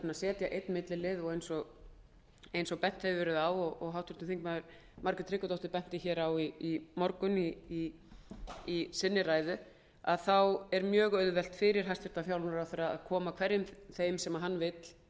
að setja einn millilið eins og bent hefur verið á meðal annars gerði háttvirtir þingmenn margrét tryggvadóttir það í ræðu sinni í morgun er mjög auðvelt fyrir hæstvirtan fjármálaráðherra að koma hverjum þeim sem hann vill